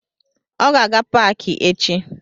Ọ ga-aga paki echi